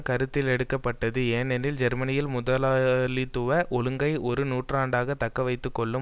கருத்திலெடுக்கப்பட்டது ஏனெனில் ஜெர்மனியில் முதலாளித்துவ ஒழுங்கை ஒரு நூற்றாண்டாக தக்கவைத்து கொள்ளும்